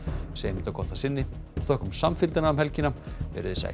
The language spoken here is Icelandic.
segjum þetta gott að sinni og þökkum samfylgdina um helgina veriði sæl